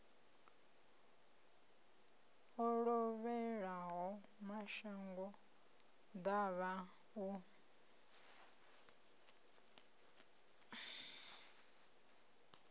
o lovhelaho mashango ḓavha u